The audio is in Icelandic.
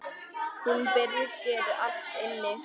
Hún byrgir allt inni.